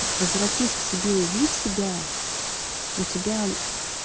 возвратись к себе увидь себя у тебя